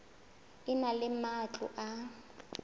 e na le matlo a